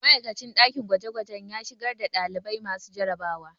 Ma'aikacin ɗakin gwajegwaje ya shigar da ɗalibai masu jarabawa